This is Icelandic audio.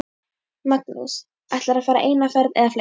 Magnús: Ætlarðu að fara eina ferð eða fleiri?